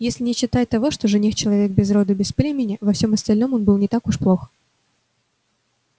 если не считать того что жених-человек без роду без племени во всем остальном он был не так уж плох